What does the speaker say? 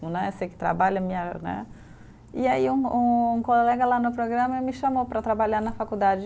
Né, você que trabalha me a, né. E aí um um colega lá no programa me chamou para trabalhar na faculdade.